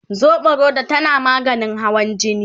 soɓorodo tana maganin hawan jini